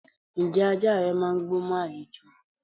Ǹjẹ́ ajá rẹ máà ń gbó mọ́ àlejò?